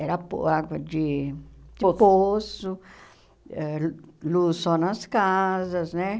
Era po água de de poço, ãh luz só nas casas, né?